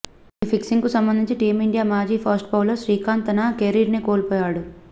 ఈ ఫిక్సింగ్కు సంబంధించి టీమిండియా మాజీ ఫాస్ట్ బౌలర్ శ్రీశాంత్ తన కెరీర్నే కోల్పోయాడు